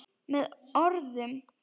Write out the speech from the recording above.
Með orðum.